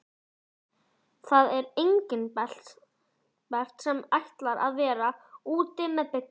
Það er Engilbert sem ætlar að vera úti með Bigga.